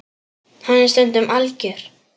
Hann er stundum algjör.